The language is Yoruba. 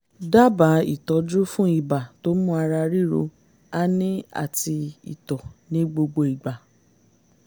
dábàá ìtọ́jú fún ibà tó mú ara ríro ání àti ìtọ̀ ní gbogbo ìgbà